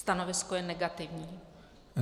Stanovisko je negativní.